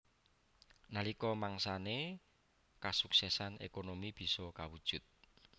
Nalika mangsané kasuksesan ékonomi bisa kawujud